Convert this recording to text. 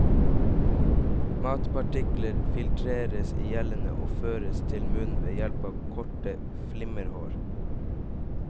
Matpartikler filtreres i gjellene og føres til munnen ved hjelp av korte flimmerhår.